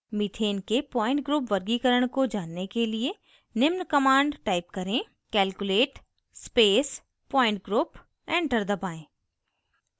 methane के point group वर्गीकरण को जानने के लिए निम्न command type करें